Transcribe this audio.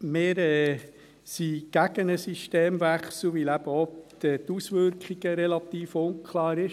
Wir sind gegen einen Systemwechsel, weil eben auch die Auswirkungen relativ unklar sind.